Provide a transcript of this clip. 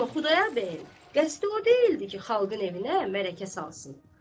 Amma Xudayar bəyin qəsdi o deyildi ki, xalqın evinə mələkə salsın.